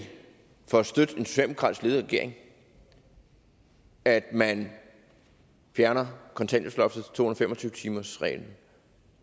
for at støtte en socialdemokratisk ledet regering at man fjerner kontanthjælpsloftet to hundrede og fem og tyve timersreglen